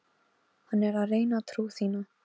Maður gæti haldið að þú værir sjónlaus!